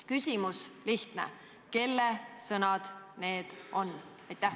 Küsimus lihtne: kelle sõnad need on?